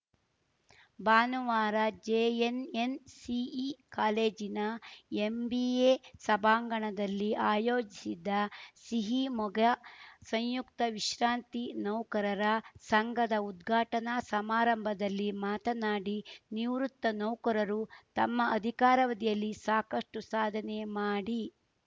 ಭಾನುವಾರ ಜೆಎನ್‌ಎನ್‌ಸಿಇ ಕಾಲೇಜಿನ ಎಂಬಿಎ ಸಭಾಂಗಣದಲ್ಲಿ ಆಯೋಜಿಸಿದ್ದ ಸಿಹಿಮೊಗ ಸಂಯುಕ್ತ ವಿಶ್ರಾಂತಿ ನೌಕರರ ಸಂಘದ ಉದ್ಘಾಟನಾ ಸಮಾರಂಭದಲ್ಲಿ ಮಾತನಾಡಿ ನಿವೃತ್ತ ನೌಕರರು ತಮ್ಮ ಅಧಿಕಾರವಧಿಯಲ್ಲಿ ಸಾಕಷ್ಟುಸಾಧನೆ ಮಾಡಿ